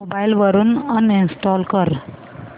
mobile वरून uninstall कर